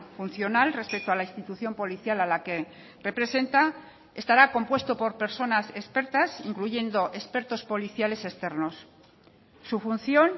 funcional respecto a la institución policial a la que representa estará compuesto por personas expertas incluyendo expertos policiales externos su función